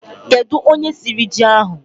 kedu onye siri ji ahụ?